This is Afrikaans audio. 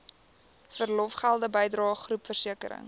verlofgelde bydrae groepversekering